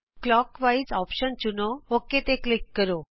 clock wise option ਚੁਣੋ okay ਤੇ click ਕਰੋ